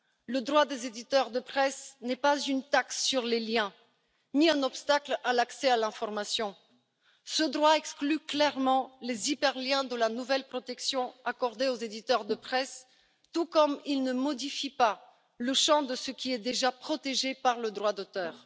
Le droit des éditeurs de presse n'est pas une taxe sur les liens, ni un obstacle à l'accès à l'information. Ce droit exclut clairement les hyperliens de la nouvelle protection accordée aux éditeurs de presse, tout comme il ne modifie pas le champ de ce qui est déjà protégé par le droit d'auteur.